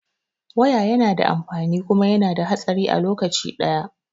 Waya yana da amfani kuma yana da hatsari a lokaci ɗaya